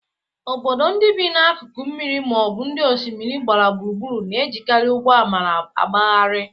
Obodo ndị bi n'akụkụ mmiri ma ọ bụ ndị osimiri gbara gburugburu na-ejekarị ụgbọ amara agbagharịa.